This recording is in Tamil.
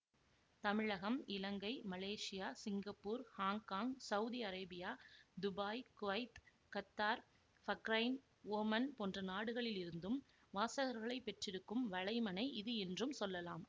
தமிழகம் Ilangai Malaysia Singapore Hong Kong Saudi Arabia Dubai Kuwait Qatar Bahrain Oman போன்ற நாடுகளிலிருந்தும் வாசகர்களைப் பெற்றிருக்கும் வலைமணை இது என்றும் சொல்லலாம்